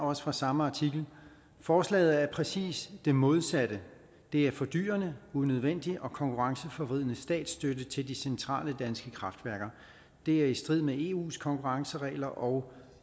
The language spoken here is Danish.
også fra samme artikel forslaget er præcis det modsatte det er fordyrende unødvendig og konkurrenceforvridende statsstøtte til de centrale danske kraftværker det er i strid med eus konkurrenceregler og